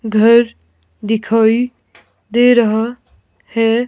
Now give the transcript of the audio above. घर दिखाई दे रहा हैं।